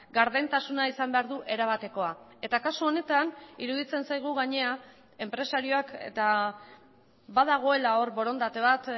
gardentasuna izan behar du erabatekoa eta kasu honetan iruditzen zaigu gainera enpresariak eta badagoela hor borondate bat